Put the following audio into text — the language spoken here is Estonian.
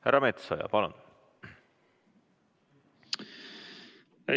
Härra Metsoja, palun!